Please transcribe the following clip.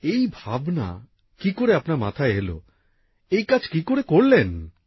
এই ভাবনা কি করে আপনার মাথায় এল এই কাজ কি করে করলেন